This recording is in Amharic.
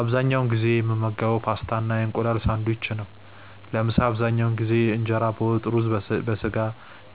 አብዛኛውን ጊዜ የምመገበው ፓስታ እና የእንቁላል ሳንድዊች ነው። ለምሳ አብዛኛውን ጊዜ እንጀራ በወጥ፣ ሩዝ በስጋ፣